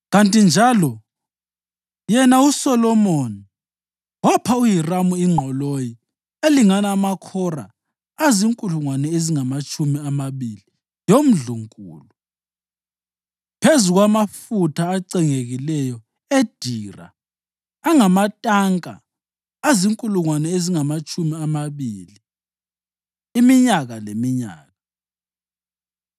kanti njalo yena uSolomoni wapha uHiramu ingqoloyi elingana amakhora azinkulungwane ezingamatshumi amabili yomndlunkulu, phezu kwamafutha acengekileyo edira angamatanka azinkulungwane ezingamatshumi amabili iminyaka leminyaka.